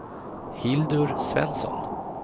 Hildur Svensson